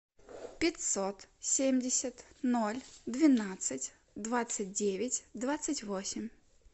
пятьсот семьдесят ноль двенадцать двадцать девять двадцать восемь